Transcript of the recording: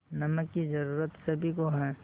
नमक की ज़रूरत सभी को है